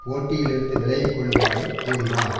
போட்டியிலிருந்து விலகிக்கொள்ளுமாறு கூறினார்